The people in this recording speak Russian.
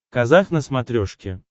казах на смотрешке